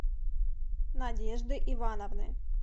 надежды ивановны